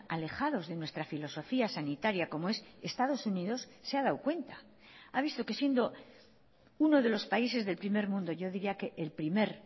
alejados de nuestra filosofía sanitaria como es estados unidos se ha dado cuenta ha visto que siendo uno de los países del primer mundo yo diría que el primer